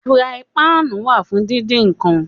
Furaipáànù wà fún díndín nǹkan.